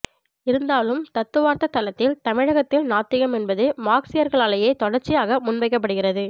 இருந்தாலும் தத்துவார்த்த தளத்தில் தமிழகத்தில் நாத்திகம் என்பது மார்க்ஸியர்களாலேயே தொடர்ச்சியாக முன்வைக்கப்படுகிறது